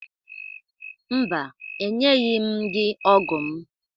Mba, enyeghi m gị ọgụ m.